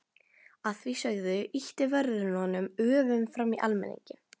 Að því sögðu ýtti vörðurinn honum öfugum fram í almenninginn.